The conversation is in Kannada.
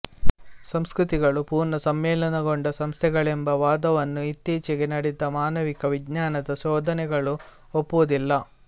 ಸಂಸ್ಕೃತಿಗಳು ಪುರ್ಣ ಸಮ್ಮಿಲನಗೊಂಡ ಸಂಸ್ಥೆಗಳೆಂಬ ವಾದವನ್ನು ಇತ್ತೀಚೆಗೆ ನಡೆದ ಮಾನವಿಕವಿಜ್ಞಾನದ ಶೋಧನೆಗಳು ಒಪ್ಪುವುದಿಲ್ಲ